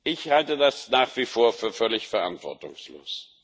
Ich halte das nach wie vor für völlig verantwortungslos.